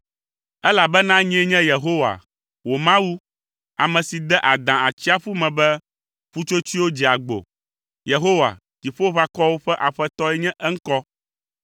elabena nyee nye Yehowa, wò Mawu, ame si de adã atsiaƒu me be ƒutsotsoewo dze agbo. Yehowa, Dziƒoʋakɔwo ƒe Aƒetɔe nye eŋkɔ.